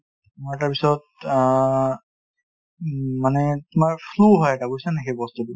তোমাৰ তাৰপিছত আ মানে তুমাৰ flu হয় এটা বুজিছা নে নাই সেই বস্তুতো